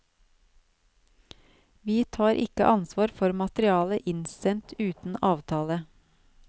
Vi tar ikke ansvar for materiale innsendt uten avtale.